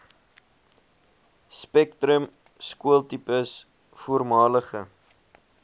spektrum skooltipes voormalige